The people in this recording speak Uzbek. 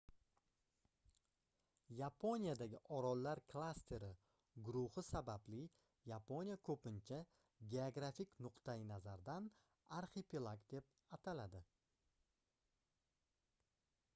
yaponiyadagi orollar klasteri/guruhi sababli yaponiya ko'pincha geografik nuqtayi nazardan arxipelag deb ataladi